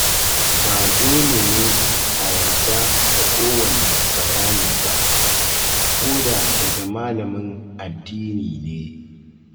Ba dole ne a yarda da kowanne bayani ba, ko da daga malamin addini ne.